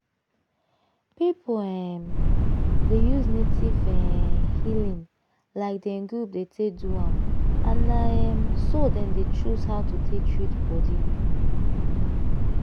people um dey use native um healing like dem group take dey do am and na um so dem dey choose how to take treat body.